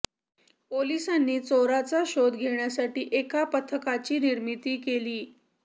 पोलिसांनी चोरांचा शोध घेण्यासाठी एका पथकाची निर्मीती केली